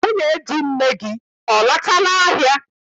Nwunye di nne gị, ọ lọtala ahịa?